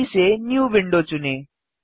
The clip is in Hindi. सूची से न्यू विंडो चुनें